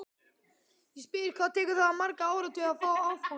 Ég spyr, hvað tekur það marga áratugi að fá afganginn?